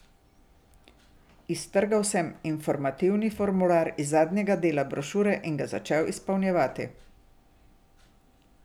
Iztrgal sem informativni formular iz zadnjega dela brošure in ga začel izpolnjevati.